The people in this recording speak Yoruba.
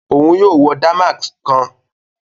Òún yóò wọ damask kán